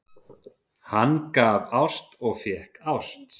Hann gaf ást og fékk ást.